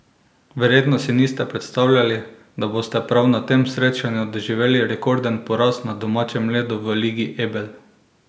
Verjetno si niste predstavljali, da boste prav na tem srečanju doživeli rekorden poraz na domačem ledu v Ligi Ebel?